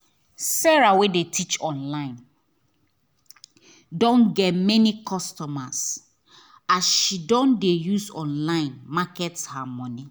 sarah wey dey teach online don get many customers as she don use online market her business